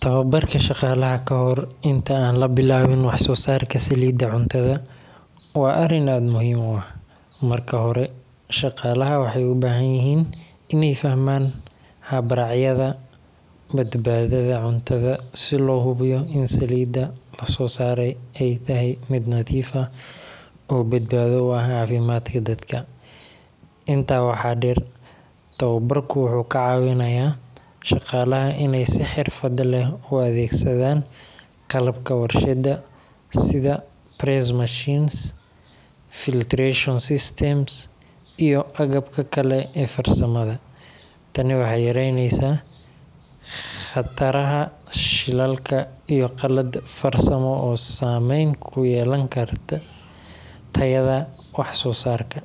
Tababarka shaqaalaha kahor inta aan la bilaabin wax soo saarka saliidda cuntada waa arrin aad muhiim u ah. Marka hore, shaqaalaha waxay u baahan yihiin inay fahmaan habraacyada badbaadada cuntada si loo hubiyo in saliidda la soo saaray ay tahay mid nadiif ah oo badbaado u ah caafimaadka dadka. Intaa waxaa dheer, tababarku wuxuu ka caawinayaa shaqaalaha inay si xirfad leh u adeegsadaan qalabka warshadda sida press machines, filtration systems, iyo agabka kale ee farsamada. Tani waxay yaraynaysaa khataraha shilalka iyo qalad farsamo oo saameyn ku yeelan kara tayada wax soo saarka.